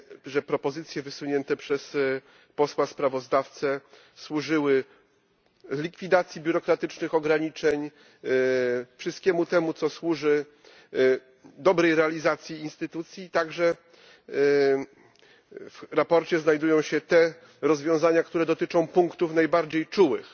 że propozycje wysunięte przez posła sprawozdawcę służyły likwidacji biurokratycznych ograniczeń, wszystkiemu temu, co służy dobrej realizacji instytucji, i także w sprawozdaniu znajdują się te rozwiązania, które dotyczą punktów najbardziej czułych.